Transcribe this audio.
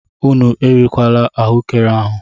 Unu erila ahuekere ahu!